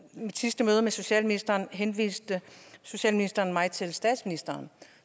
mit sidste møde med socialministeren henviste socialministeren mig til statsministeren